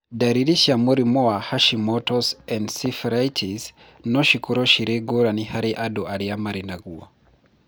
Ndariri cia mũrimũ wa Hashimoto's encephalitis no cikorũo cirĩ ngũrani harĩ andũ arĩa marĩ naguo